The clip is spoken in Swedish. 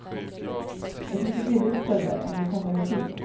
Ett mycket billigt ställe, om du kommer i tid.